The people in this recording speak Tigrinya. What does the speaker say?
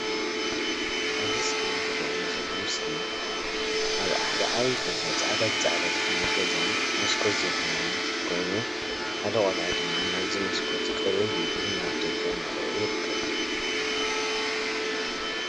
አብዚ ስክሪን ዝረአየኒ ዘሎ ምስሊ አብ ሓደ ዓብይ ገዛ ፃዕዳ ብፃዕዳ ዝኮነ ገዛን መስኮት ዘለዎን ኮይኑ ሓደ ቆልዓ ድማ ናብዚ መስኮት ቅርብ ኢሉ ናብ ደገ እናረአየ ይርከብ።